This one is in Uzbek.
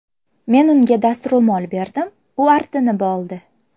Men unga dastro‘mol berdim, u artinib oldi.